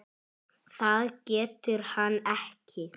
Það getur hann ekki.